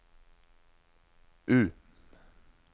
U